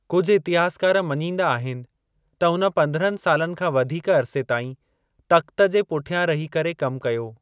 कुझु इतिहासकार मञींदा आहिनि त हुन पंदरहनि सालनि खां वधीक अरिसे ताईं तख़्त जे पुठियां रही करे कम कयो।